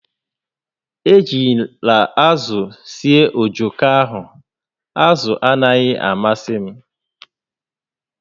Ejila azụ sie ojoko ahụ, azụ anaghị amasị m!